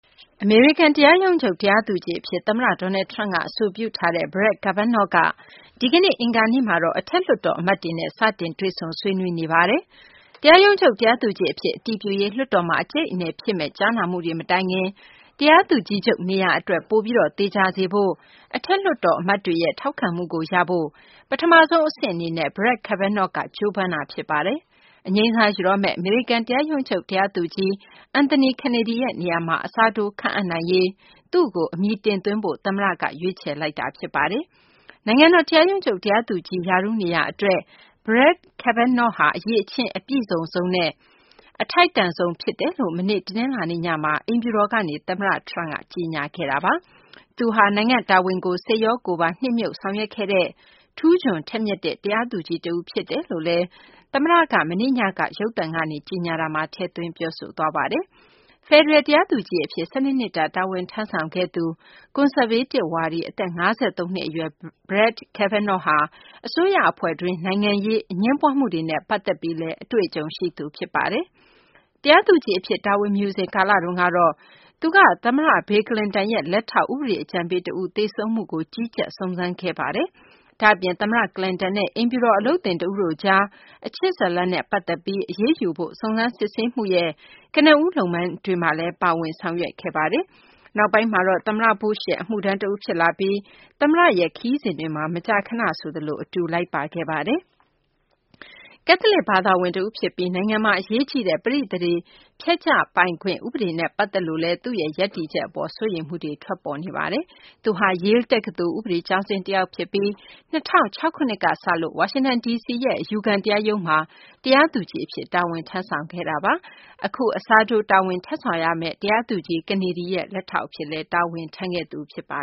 အမေရိကန် တရားရုံးချုပ် တရားသူကြီး အဖြစ် သမ္မတ Donald Trump က အဆိုပြုထားတဲ့ Brett Kavanaugh က ဒီကနေ့ အင်္ဂါနေ့မှာတော့ အထက်လွှတ်တော် အမတ်တွေနဲ့ စတင် တွေ့ဆုံ ဆွေးနွေးနေပါတယ်။ တရားရုံးချုပ် တရားသူကြီး အဖြစ် အတည်ပြုရေး လွှွတ်တော်မှာ အကြိတ်အနယ် ဖြစ်မယ့် ကြားနာမှုတွေ မတိုင်ခင် တရားသူကြီးချုပ် နေရာ အတွက် ပိုပြီး သေချာစေဖို့ အထက်လွှတ်တော် အမတ်တွေရဲ့ ထောက်ခံမှုကိုရဖို့ ပထမဆုံး အဆင့်အနေနဲ့ Brett Kavanaugh က ကြိုးပမ်းနေတာ ဖြစ်ပါတယ်။ အငြိမ်းစား ယူတော့မယ့် အမေရိကန် တရားရုံးချုပ် တရားသူကြီး Anthony Kennedy ရဲ့နေရာမှာ အစားထိုး ခန့်အပ်နိုင်ရေး Brett Kavanaugh ကို အမည်တင်သွင်းဖို့ သမ္မတ Donald Trump က ရွေးချယ်လိုက်ပါတယ်။ နိုင်ငံတော် တရားရုံးချုပ် တရားသူကြီး ရာထူးနေရာအတွက် Brett Kavanaugh ဟာ အရည်အချင်း အပြည့်စုံဆုံးနဲ့ အထိုက်တန်ဆုံး ဖြစ်ကြောင်း မနေ့ တနလာၤနေ့ညမှာ အိမ်ဖြူတော်ကနေ သမ္မတ Trump က ကြေညာခဲ့တာပါ။ Brett Kavanaugh ဟာ နိုင်ငံ့တာဝန်ကို စိတ်ရော ကိုယ်ပါ နှစ်မြုပ် ဆောင်ရွက်ခဲ့တဲ့ ထူးချွန်ထက်မြက်တဲ့ တရားသူကြီး တဦး ဖြစ်တယ်လို့လည်း သမ္မတTrump က မနေ့ညက ရုပ်သံကနေ ကြေညာခဲ့တာမှာ ထည့်သွင်း ပြောဆိုသွားပါတယ်။ ဖယ်ဒရယ် တရားသူကြီး အဖြစ် ၁၂ နှစ်တာ တာဝန်ထမ်းဆောင်ခဲ့သူ ကွန်ဆာဗေးတစ် ဝါဒီ အသက် ၅၃ နှစ် အရွယ် Brett Kavanaugh ဟာ အစိုးရအဖွဲ့တွင်း နိုင်ငံရေး၊ အငြင်းပွားမှုတွေနဲ့ ပတ်သက်ပြီးလည်း အတွေ့အကြုံ ရှိသူ ဖြစ်ပါတယ်။ တရားသူကြီး အဖြစ် တာဝန်မယူစဉ် ကာလတုန်းက Brett Kavanaugh က သမ္မတ Bill Clinton ရဲ့ လက်ထောက် ဥပဒေအကြံပေး တဦး သေဆုံးမှုကို ကြီးကြပ် စုံစမ်းခဲ့သူ ဖြစ်ပါတယ်။ ဒါ့အပြင် သမ္မတ Clinton နဲ့ အိမ်ဖြူတော် အလုပ်သင်တဦးတို့ကြား အချစ်ဇာတ်လမ်းနဲ့ ပတ်သက်ပြီး အရေးယူဖို့ စုံစမ်းစစ်ဆေးမှုရဲ့ ကနဦး လုပ်ငန်းတွေမှာလည်း Kavanaugh ပါဝင် ဆောင်ရွက်ခဲ့ပါတယ်။ နောက်ပိုင်းမှာတော့ သမ္မတ Bush ရဲ့ အမှုထမ်းတဦး ဖြစ်လာပြီး သမ္မတ Bush ရဲ့ ခရီးစဉ်တွေမှာ မကြာခဏ အတူ လိုက်ပါခဲ့ပါတယ်။ သူဟာ ကက်စလစ် ဘာသာဝင် တဦးဖြစ်ပြီး နိုင်ငံမှာ အရေးကြီးတဲ့ ပဋိသန္ဓေဖျက်ချပိုင်ခွင့် ဥပဒေနဲ့ ပတ်သက်လို့လည်း သူ့ရဲ့ ရပ်တည်ချက် အပေါ် စိုးရိမ်မှုတွေ ထွက်ပေါ်လာခဲ့ပါတယ်။ သူဟာ Yale တက္ကသိုလ် ဥပဒေကျောင်းဆင်း တယောက်ဖြစ်ပြီး ၂၀၀၆ ခုနှစ်ကစလို့ ဝါရှင်တန် ဒီစီရဲ့ အယူခံ တရားရုံးမှာ တရားသူကြီးအဖြစ် တာဝန်ထမ်းဆောင်ခဲ့သူ ဖြစ်ပါတယ်။ အခု သူအစားထိုး တာဝန်ထမ်းဆောင်ရမယ့် တရားသူကြီး Kennedy ရဲ့ လက်ထောက်အဖြစ်လည်း ထမ်းဆောင်ခဲ့သူ ဖြစ်ပါ